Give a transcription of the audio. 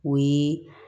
O ye